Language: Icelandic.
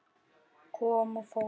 Kom og fór.